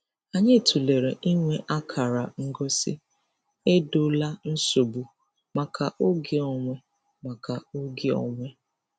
Anyị tụlere inwe akara ngosi "Edola nsogbu" maka oge onwe. maka oge onwe.